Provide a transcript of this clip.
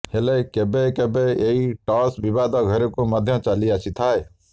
ହେଲେ କେବେ କେବେ ଏହି ଟସ୍ ବିବାଦ ଘେରକୁ ମଧ୍ୟ ଚାଲି ଆସିଥାଏ